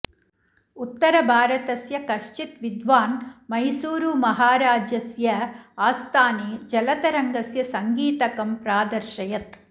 उत्तरभारतस्य कश्चित् विद्वान् मैसूरुमहाराजस्य आस्थाने जलतरङ्गस्य सङ्गीतकं प्रादर्शयत्